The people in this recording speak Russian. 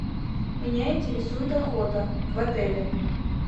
меня интересует охота в отеле